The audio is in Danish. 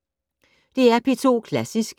DR P2 Klassisk